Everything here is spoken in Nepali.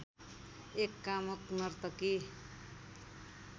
एक कामुक नर्तकी